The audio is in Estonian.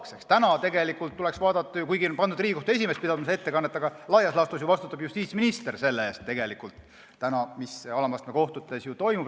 Kuigi seda ettekannet on pandud pidama Riigikohtu esimees, vastutab laias laastus ju justiitsminister selle eest, mis alama astme kohtutes toimub.